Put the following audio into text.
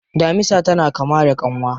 Damisa tana kama da kyanwa.